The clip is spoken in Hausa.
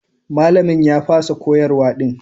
Malamin ya fasa koyarwa din.